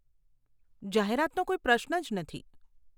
જાહેરાતનો કોઈ પ્રશ્ન જ નથી.